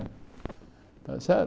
Está certo?